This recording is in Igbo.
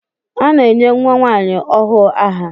A na-enye nwa nwanyi ọhụụ aha.